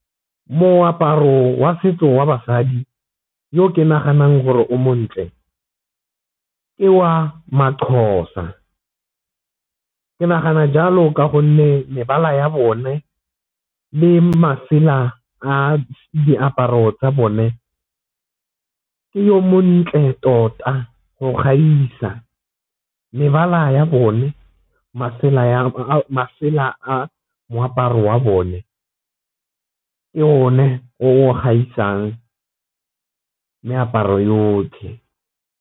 Moaparo wa setso wa basadi yo ke naganang gore o montle ke wa maXhosa ke nagana jalo ka gonne mebala ya bone le masela a diaparo tsa bone ke yo montle tota go gaisa. Mebala ya bone masela a moaparo wa bone ke o ne o gaisang meaparo yotlhe.